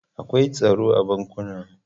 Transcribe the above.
Akwai tsaro a bankunan.